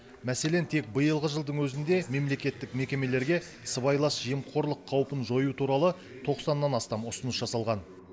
мәселен тек биылғы жылдың өзінде мемлекеттік мекемелерге сыбайлас жемқорлық қаупін жою туралы тоқсаннан астам ұсыныс жасалған